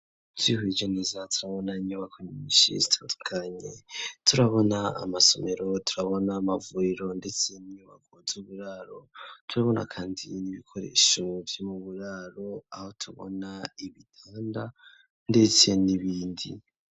Twihweje neza turabona inyubako nyinshi zitandukanye, turabona amasomero, turabona amavuriro ndetse n'inyubako z'uburaro, turabona kandi ibikoresho vy'uburaro aho tubona ibitanda ndetse n'ibindi.